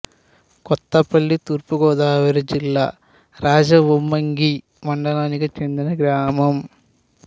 కొత్తపల్లి తూర్పు గోదావరి జిల్లా రాజవొమ్మంగి మండలానికి చెందిన గ్రామం